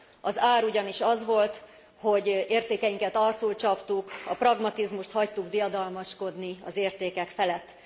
Az ár ugyanis az volt, hogy értékeinket arcul csaptuk, a pragmatizmust hagytuk diadalmaskodni az értékek felett.